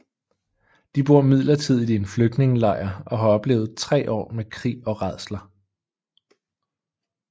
De bor midlertidigt i en flygtningelejr og har oplevet tre år med krig og rædsler